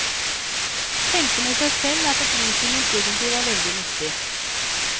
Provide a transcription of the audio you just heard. Tenkte med seg selv at opplysningen egentlig var veldig nyttig.